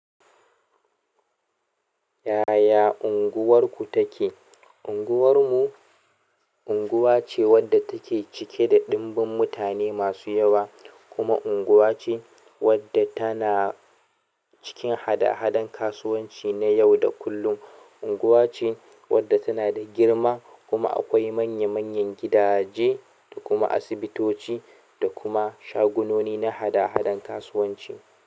Yaya unguwarku take? Unguwar mu unguwa ce wadda take cike da ɗimbin mutane masu yawa kuma unguwa ce wadda tana cikin hada-hadan kasuwanci na yau da kullum. Unguwa ce wadda tana da girma kuma akwai manya-manyan gidaje da kuma asibitoci da kuma shagunoni na hada-hadan kasuwanci.